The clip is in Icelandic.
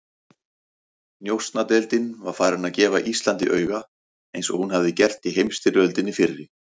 Njósnadeildin var farin að gefa Íslandi auga, eins og hún hafði gert í heimsstyrjöldinni fyrri.